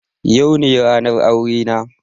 Yau ne ranar aurena.